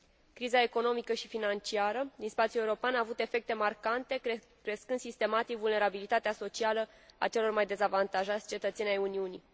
Criza economică și financiară din spațiul european a avut efecte marcante, crescând sistematic vulnerabilitatea socială a celor mai dezavantajați cetățeni ai Uniunii.